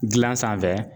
Gilan sanfɛ